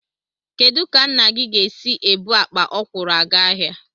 Kedụ ka nna gị ga-esi ebu akpa ọkwụrụ aga ahịa?